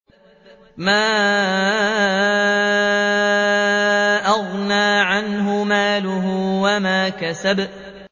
مَا أَغْنَىٰ عَنْهُ مَالُهُ وَمَا كَسَبَ